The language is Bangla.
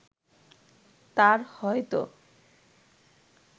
তার হয়তো